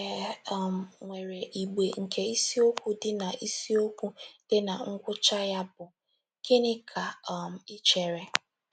E um nwere igbe nke isiokwu di na isiokwu di na ngwụcha ya bụ “ Gịnị Ka um I Chere? ”